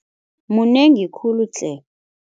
Munengi khulu tle.